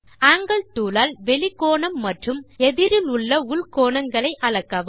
angle tool ஆல் வெளிக் கோணம் மற்றும் எதிரிலுள்ள உள் கோணங்களை அளக்கவும்